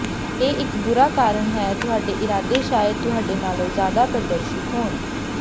ਇਹ ਇੱਕ ਬੁਰਾ ਕਾਰਨ ਹੈ ਤੁਹਾਡੇ ਇਰਾਦੇ ਸ਼ਾਇਦ ਤੁਹਾਡੇ ਨਾਲੋਂ ਜ਼ਿਆਦਾ ਪਾਰਦਰਸ਼ੀ ਹੋਣ